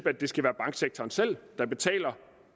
at det skal være banksektoren selv der betaler